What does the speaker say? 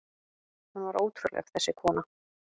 Hún var ótrúleg, þessi kona.